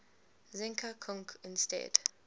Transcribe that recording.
zinka kunc instead